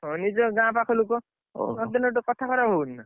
ହଁ ନିଜ ଗାଁ ପାଖ ଲୋକ। ନଦେଲେ ଗୋଟେ କଥା ଖରାପ ହବନି ନା।